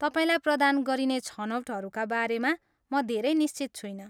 तपाईँलाई प्रदान गरिने छनौटहरूका बारेमा म धेरै निश्चित छुइनँ।